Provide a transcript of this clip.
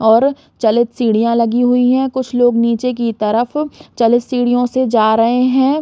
और चलक सीढियाँ लगी हुई है कुछ लोग नीचे की तरफ चलक सीढ़ियों से जा रहै है।